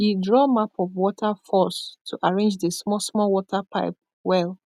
e draw map of water force to arrange the small small water pipe well